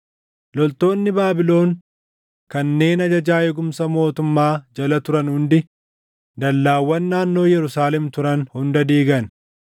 Loltoonni Baabilon kanneen ajajaa eegumsa mootummaa jala turan hundi dallaawwan naannoo Yerusaalem turan hunda diigan.